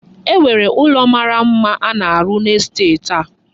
E nwere ụlọ mara mma a na-arụ n'estet a.